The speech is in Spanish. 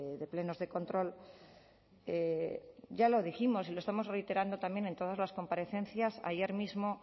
de plenos de control ya lo dijimos y lo estamos reiterando también en todas las comparecencias ayer mismo